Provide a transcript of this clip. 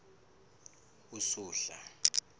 usuhla